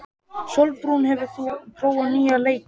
Sólbrún, hefur þú prófað nýja leikinn?